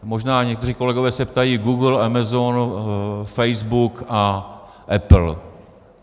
Možná někteří kolegové se ptají - Google, Amazon, Facebook a Apple.